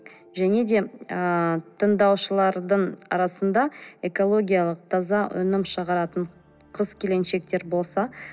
және де ы тыңдаушылардың арасында экологиялық таза өнім шығаратын қыз келіншектер болса